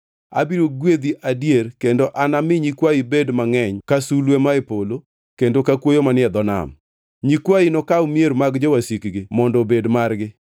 abiro gwedhi adier kendo anami nyikwayi bed mangʼeny ka sulwe mae polo kendo ka kuoyo manie dho nam. Nyikwayi nokaw mier mag jowasikgi mondo obed margi,